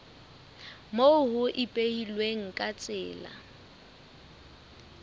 moo ho ipehilweng ka tsela